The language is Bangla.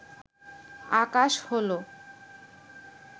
আকাশ হল